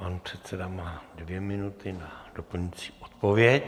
Pan předseda má dvě minuty na doplňující odpověď.